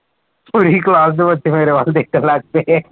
ਪੂਰੀ class ਦੇ ਬੱਚੇ ਮੇਰੇ ਵੱਲ ਦੇਖਣ ਲੱਗ ਗਏ